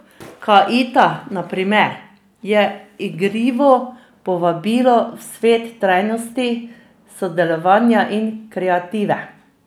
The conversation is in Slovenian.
Kaaita na primer, je igrivo povabilo v svet trajnosti, sodelovanja in kreative.